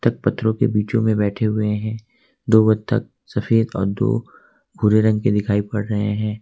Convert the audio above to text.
पत्थरों के बीचो में बैठे हुए हैं दो बतख सफेद और दो भूरे रंग के दिखाई पड़ रहे हैं।